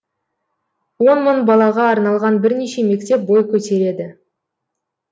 он мың балаға арналған бірнеше мектеп бой көтереді